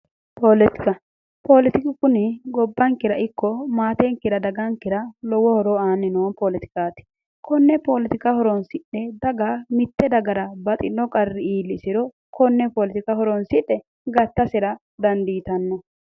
Poletika poletiku kuni gobbankera ikko maatenkera dagankera lowo horo aanni noo poletikaati. konne poletika horonsidhe mitte dagara baxxino qarri iillisero konne polotika horonsidhe gattasera dandiitanno.